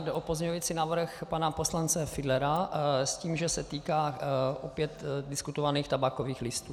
Jde o pozměňovací návrh pana poslance Fiedlera s tím, že se týká opět diskutovaných tabákových listů.